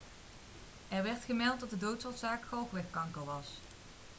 er werd gemeld dat de doodsoorzaak galwegkanker was